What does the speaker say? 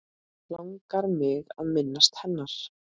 Langar mig að minnast hennar.